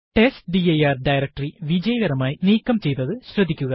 test dir directory വിജയകരമായി നീക്കം ചെയ്തത് ശ്രദ്ധിക്കുക